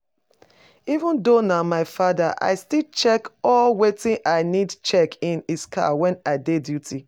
Even though nah my father i still check all wetin I need check in his car when I dey duty